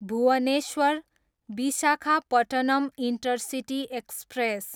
Bhubaneswar, Visakhapatnam intercity express